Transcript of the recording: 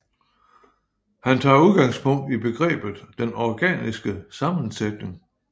Han tager udgangspunkt i begrebet den organiske sammensætning